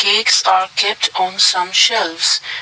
Cakes are kept on some shelves.